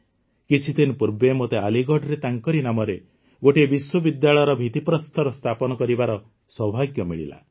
କିଛିଦିନ ପୂର୍ବେ ମୋତେ ଆଲିଗଡ଼ରେ ତାଙ୍କରି ନାମରେ ଗୋଟିଏ ବିଶ୍ୱବିଦ୍ୟାଳୟର ଭିତ୍ତିପ୍ରସ୍ତର ସ୍ଥାପନ କରିବାର ସୌଭାଗ୍ୟ ମିଳିଲା